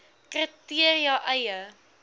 kri teria eie